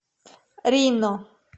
рино